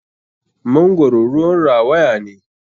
Mangoro ruwan rawaya ne.